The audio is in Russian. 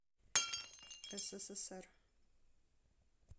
ссср